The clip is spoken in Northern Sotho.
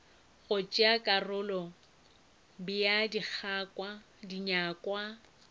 go tšea karolo bea dinyakwa